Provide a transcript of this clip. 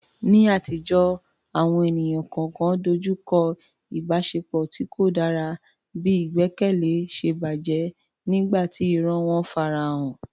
Ní àtijọ́, àwọn ènìyàn kọ̀ọ̀kan dojú kọ ìbáṣepọ̀ tí kò dára bí ìgbẹ́kẹ̀lé ṣe bàjẹ́ nígbà tí irọ́ wọn farahàn.